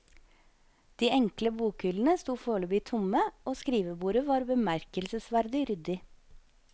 De enkle bokhyllene sto foreløpig tomme og skrivebordet var bemerkelsesverdig ryddig.